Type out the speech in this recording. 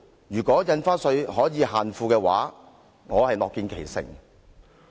如果印花稅能夠限富，我樂見其成。